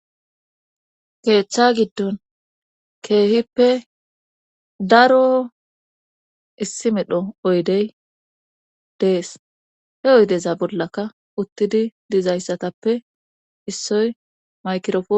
keethctha giddon keehippe daro issimidho oydey dees he oydeza bollaka uttidi dizayssatappe issoy maykirofo